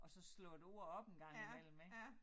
Og så slå et ord op en gang imellem ik